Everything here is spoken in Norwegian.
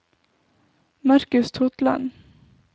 Markus Totland